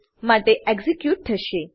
માટે એક્ઝીક્યુટ થશે